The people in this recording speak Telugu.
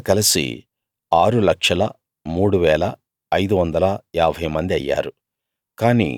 వారింతా కలసి 603550 మంది అయ్యారు